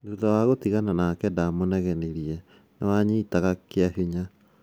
Thutha wa gũtigana nake, ndamunegenirie "'Nĩwanyitaga kiabinya!"